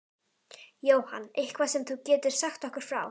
Jóhann: Eitthvað sem þú getur sagt okkur frá?